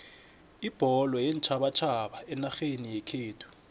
ibholo yeentjhabatjhaba enarheni yekhethu